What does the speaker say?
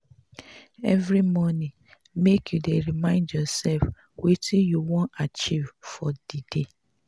every morning make you dey remind yoursef wetin you wan achieve for di day.